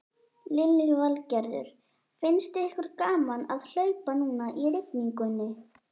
Lillý Valgerður: Finnst ykkur gaman að hlaupa núna í rigningunni?